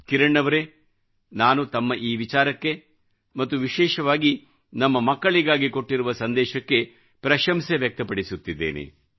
ಕಿರಣ್ ಅವರೇ ನಾನು ತಮ್ಮ ಈ ವಿಚಾರಕ್ಕೆ ಮತ್ತು ವಿಶೇಷವಾಗಿ ನಮ್ಮ ಮಕ್ಕಳಿಗಾಗಿ ಕೊಟ್ಟಿರುವ ಸಂದೇಶಕ್ಕೆ ಪ್ರಶಂಸೆ ವ್ಯಕ್ತಪಡಿಸುತ್ತಿದ್ದೇನೆ